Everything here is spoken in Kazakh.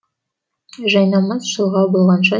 жайнамаз шылғау болғанша